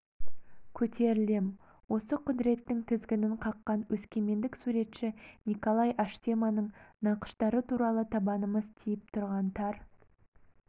көтерілем осы құдіреттің тізгінін қаққан өскемендік суретші николай аштеманың нақыштары туралы табанымыз тиіп тұрған тар